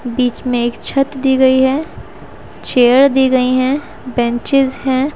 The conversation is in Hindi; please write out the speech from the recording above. बीच में एक छत दी गई है चेयर दी गई हैं बेंचेस है।